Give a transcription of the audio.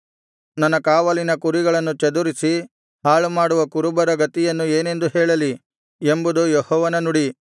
ನನ್ನ ಕಾವಲಿನ ಕುರಿಗಳನ್ನು ಚದುರಿಸಿ ಹಾಳು ಮಾಡುವ ಕುರುಬರ ಗತಿಯನ್ನು ಏನೆಂದು ಹೇಳಲಿ ಎಂಬುದು ಯೆಹೋವನ ನುಡಿ